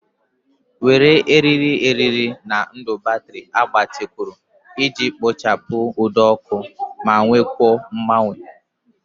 Were eriri eriri na ndụ batrị agbatịkwuru iji kpochapụ ụdọ ọkụ ma nwekwuo mgbanwe.